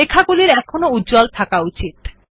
লেখাগুলির এখনও উজ্জ্বল তাহ্কা উচিত